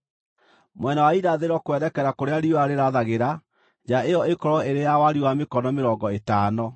Mwena wa irathĩro, kwerekera kũrĩa riũa rĩrathagĩra, nja ĩyo ĩkorwo ĩrĩ ya wariĩ wa mĩkono mĩrongo ĩtano.